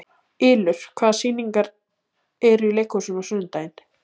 Ylur, hvaða sýningar eru í leikhúsinu á sunnudaginn?